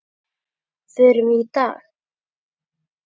Förum við í dag?